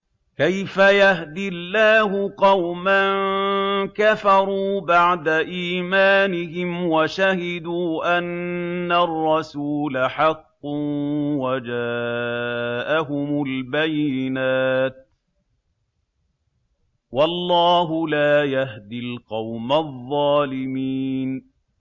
كَيْفَ يَهْدِي اللَّهُ قَوْمًا كَفَرُوا بَعْدَ إِيمَانِهِمْ وَشَهِدُوا أَنَّ الرَّسُولَ حَقٌّ وَجَاءَهُمُ الْبَيِّنَاتُ ۚ وَاللَّهُ لَا يَهْدِي الْقَوْمَ الظَّالِمِينَ